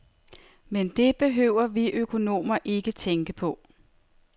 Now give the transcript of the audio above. Men det behøver vi økonomer ikke tænke på.